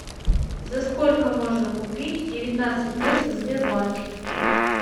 за сколько можно купить девятнадцать песо в сбербанке